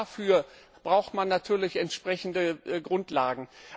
Auch dafür braucht man natürlich entsprechende Grundlagen.